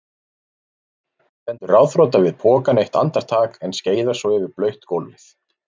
Stendur ráðþrota við pokann eitt andartak en skeiðar svo yfir blautt gólfið.